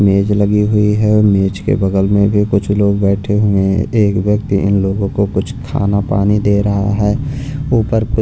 मेज लगी हुई है मेज के बगल में भी कुछ लोग बैठे हुए हैं एक व्यक्ति इन लोगों को कुछ खाना पानी दे रहा है ऊपर--